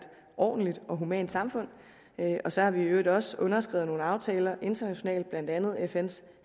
ordentligt og humant samfund og så har vi i øvrigt også underskrevet nogle aftaler internationalt blandt andet fns